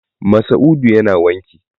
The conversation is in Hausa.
Masa'udu yana wanki.